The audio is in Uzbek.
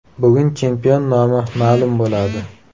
Bugun chempion nomi ma’lum bo‘ladi.